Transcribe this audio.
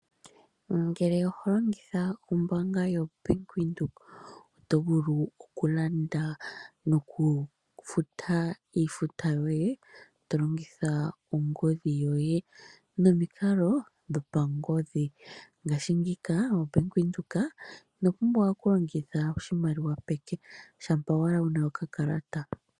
Ngele oho longitha ombaanga yo Bank Windhoek oto vulu okulamda nokufuta iifuta yoye to longitha ongodhi yoye, nomikalo dhopangodhi. Ngashingika oBank Windhoek ino pumbwa okulongitha oshimaliwa peke shampa owala wuna okakalata.